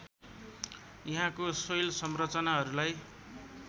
यहाँको शैल संरचनाहरूलाई